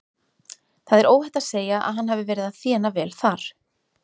Það er óhætt að segja að hann hafi verið að þéna vel þar.